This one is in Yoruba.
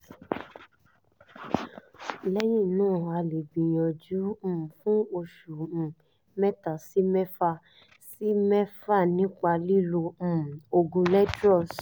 lẹ́yìn náà ẹ lè gbìyànjú um fún oṣù um mẹ́ta sí mẹ́fà sí mẹ́fà nípa lílo um oògùn letroz